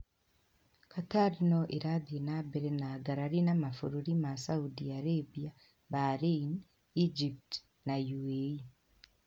Qatar no ĩrathiĩ na mbere na ngarari na mabũrũri ma Saudi Arabia, Bahrain, Egypt na UAE.